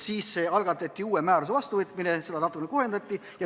Siis algatati uue määruse vastuvõtmine, seda määrust natukene kohendati.